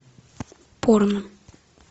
порно